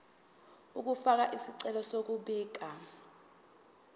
ukufaka isicelo sokubika